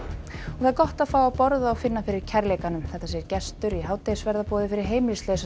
það er gott að fá að borða og finna fyrir kærleikanum segir gestur í hádegisverðarboði fyrir heimilislausa